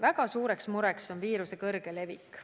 Väga suur mure on viiruse kiire levik.